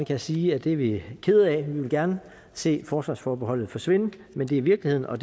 jeg sige at det er vi kede af vi ville gerne se forsvarsforbeholdet forsvinde men det er virkeligheden og